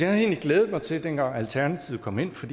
havde egentlig glædet mig til det dengang alternativet kom ind for